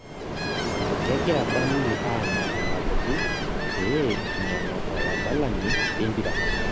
kegira Burnley anya enkaputi pee inyang'u oladalani lempira